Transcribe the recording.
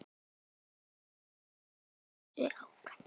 Haltu þessu áfram.